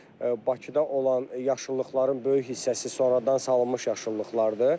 Bakıda olan yaşıllıqların böyük hissəsi sonradan salınmış yaşıllıqlardır.